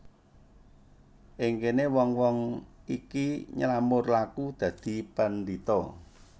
Ing kene wong wong iki nylamur laku dadi pandhita